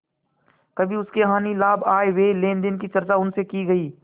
कभी उसके हानिलाभ आयव्यय लेनदेन की चर्चा उनसे की गयी